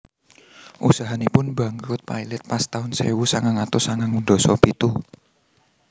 Usahanipun bangkrut pailit pas taun sewu sangang atus sangang ndasa pitu